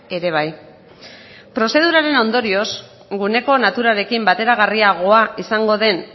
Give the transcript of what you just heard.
ere bai prozeduraren ondorioz guneko naturarekin bateragarriagoa izango den